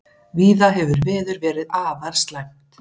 Víða hefur veður verið afar slæmt